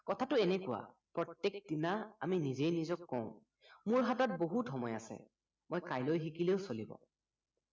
কথাটো এনেকুৱা প্ৰত্য়েক দিনা আমি নিজে নিজক কওঁ মোৰ হাতত বহুত সময় আছে মই কাইলৈ শিকিলেও চলিব